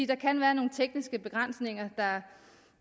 der kan være nogle tekniske begrænsninger